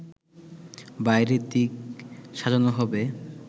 বাইরের দিক সাজানো হবে